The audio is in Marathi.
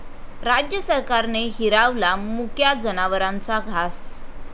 राज्य सरकारने हिरावला मुक्या जनावरांचा घास!